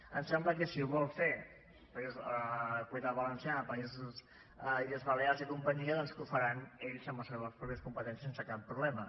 ens sembla que si ho vol fer la comunitat valenciana illes balears i companyia doncs que ho faran ells amb les seves pròpies competències sense cap problema